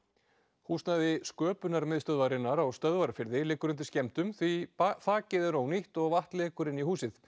húsnæði á Stöðvarfirði liggur undir skemmdum því þakið er ónýtt og vatn lekur inn í húsið